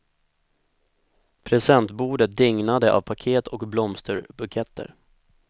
Presentbordet dignade av paket och blomsterbuketter.